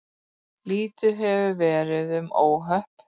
Lítið hefur verið um óhöpp